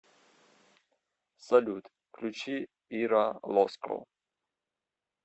салют включи ира лоско